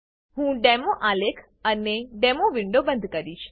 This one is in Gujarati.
હું ડેમો આલેખ અને ડેમો વિન્ડો બંધ કરીશ